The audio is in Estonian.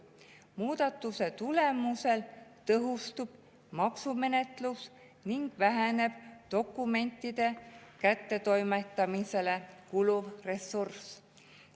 Muudatuse tulemusel tõhustub maksumenetlus ning väheneb dokumentide kättetoimetamisele kuluv ressurss.